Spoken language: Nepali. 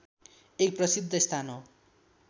एक प्रसिद्ध स्थान हो